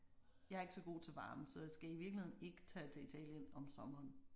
Jeg er ikke så god til varme så jeg skal i virkeligheden ikke tage til Italien om sommeren